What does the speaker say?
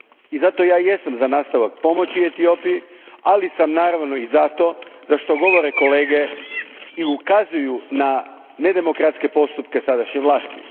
I zato ja jesam za nastavak pomoći Etiopiji, ali sam naravno i za to, za što govore kolege i ukazuju na nedemokratske postupke sadašnje vlasti.